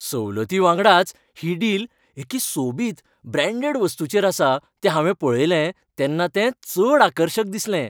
सवलती वांगडाच ही डिल एके सोबीत, ब्रॅण्डेड वस्तूचेर आसा तें हांवें पळयलें, तेन्ना तें चड आकर्शक दिसलें .